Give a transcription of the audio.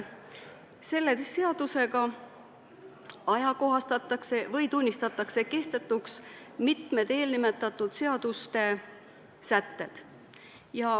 Selle seadusega ajakohastatakse või tunnistatakse kehtetuks mitmed eelnimetatud seaduste sätted.